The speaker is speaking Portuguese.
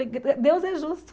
Deus é justo.